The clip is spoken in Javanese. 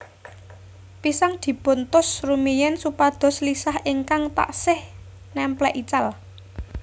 Pisang dipun tus rumiyin supados lisah ingkang taksih nèmplek ical